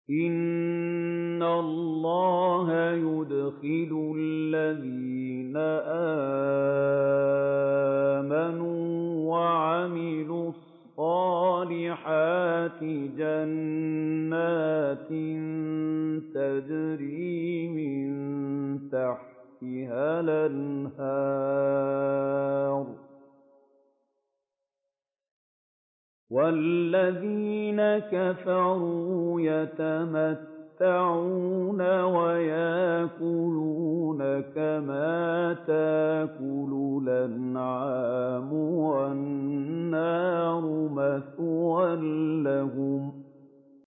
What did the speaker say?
إِنَّ اللَّهَ يُدْخِلُ الَّذِينَ آمَنُوا وَعَمِلُوا الصَّالِحَاتِ جَنَّاتٍ تَجْرِي مِن تَحْتِهَا الْأَنْهَارُ ۖ وَالَّذِينَ كَفَرُوا يَتَمَتَّعُونَ وَيَأْكُلُونَ كَمَا تَأْكُلُ الْأَنْعَامُ وَالنَّارُ مَثْوًى لَّهُمْ